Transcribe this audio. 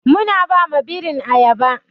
Muna ba ma birin ayaba.